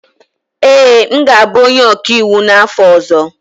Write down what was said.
Ee, m ga-abụ onye ọkaiwu n'afọ ọzọ